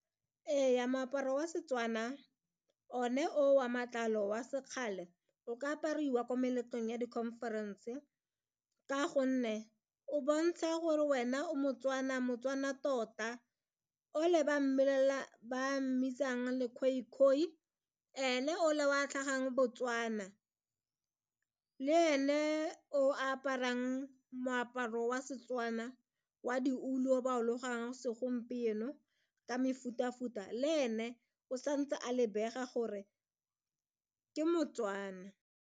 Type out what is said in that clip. Ee, moaparo wa Setswana one o wa matlalo wa sekgale o ka apariwa ko meletlong ya di-conference ka gonne o bontshe ya gore wena o mo-Tswana, mo-Tswana tota ole ba mmitsang le-Khoikhoi ene ole o a tlhagang Botswana le ene o aparang moaparo wa Setswana wa ditulo ba segompieno ka mefuta-futa le ene o santse a lebega gore ke mo-Tswana.